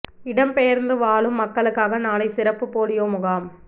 இடம் பெயர்ந்து வாழும் மக்களுக்காக நாளை சிறப்பு போலியோ முகாம்